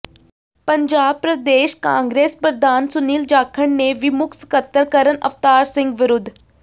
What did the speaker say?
ਪੰਜਾਬ ਪ੍ਰਦੇਸ਼ ਕਾਂਗਰਸ ਪ੍ਰਧਾਨ ਸੁਨੀਲ ਜਾਖੜ ਨੇ ਵੀ ਮੁੱਖ ਸਕੱਤਰ ਕਰਨ ਅਵਤਾਰ ਸਿੰਘ ਵਿਰੁਧ